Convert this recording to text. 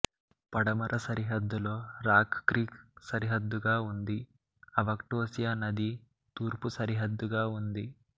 పడమర సరిహద్దులో Rock Creek సరిహద్దుగా ఉంది అవకోస్టియా నది తూర్పు సరిహద్దుగా ఉంది